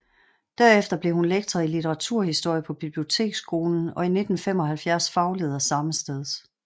Derefter blev hun lektor i litteraturhistorie på biblioteksskolen og i 1975 fagleder sammesteds